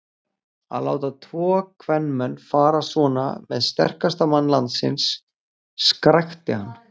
Að láta tvo kvenmenn fara svona með sterkasta mann landsins, skrækti hann.